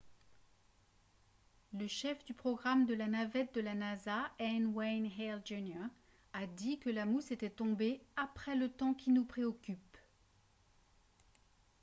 le chef du programme de la navette de la nasa n. wayne hale jr. a dit que la mousse était tombée « après le temps qui nous préoccupe »